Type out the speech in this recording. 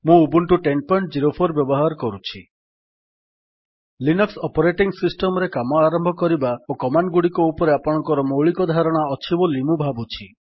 ମୁଁ ଉବୁଣ୍ଟୁ 1004 ବ୍ୟବହାର କରୁଛି ଲିନକ୍ସ୍ ଅପରେଟିଙ୍ଗ୍ ସିଷ୍ଟମ୍ ରେ କାମ ଆରମ୍ଭ କରିବା ଓ କମାଣ୍ଡ୍ ଗୁଡିକ ଉପରେ ଆପଣଙ୍କର ମୌଳିକ ଧାରଣା ଅଛି ବୋଲି ମୁଁ ଭାବୁଛି